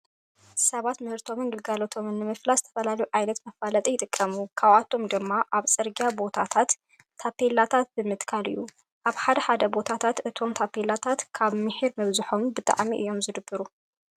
ሰባት ምህርቶምን ንብረታቶም ንምፍላጥ ዝተፈላለዩ ዓይነታት መፋለጢ ይጥቀሙ። ካብኣቶም ድማ ኣብ ፅርግያ ቦታታት ታቤላታት ብምትካል እዩ። ኣብ ሓደ ሓደ ቦታታት እቶም ታቤላታት ካብ ሚሒር ምብዝሖም ብጣዕሚ እዩ ዘደብሩ።